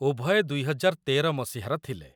ଉଭୟେ ୨୦୧୩ ମସିହାର ଥିଲେ।